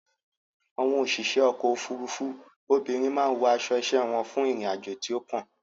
Àwọn òṣìṣẹ́ ọkò òfurufú obìnrin má a wọ aṣo iṣẹ́ wọn fún ìrìn àjò tí ó kàn.